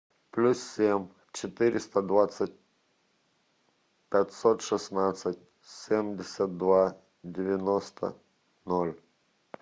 плюс семь четыреста двадцать пятьсот шестнадцать семьдесят два девяносто ноль